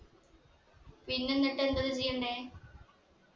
പിന്നെ എന്നിട്ട് എന്തൊക്കെ ചെയ്യണ്ടേ